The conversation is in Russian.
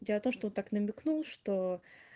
у тебя-то что так намекнул что